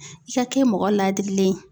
I ka kɛ mɔgɔ ladirilen ye.